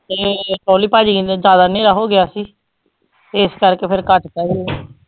ਤੇ ਬੋਲੀ ਬਾਜੀ ਕਹਿੰਦੇ ਜ਼ਿਆਦਾ ਹਨੇਰਾ ਹੋ ਗਿਆ ਸੀ, ਇਸ ਕਰਕੇ ਫਿਰ ਕੱਟ ਦਿੱਤਾ ਸੀ